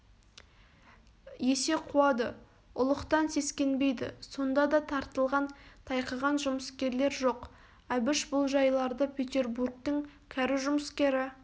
есе қуады ұлықтан сескенбейді сонда да тартылған тайқыған жұмыскерлер жоқ әбіш бұл жайларды петербургтың кәрі жұмыскері